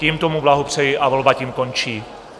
Tímto mu blahopřeji a volba tím končí.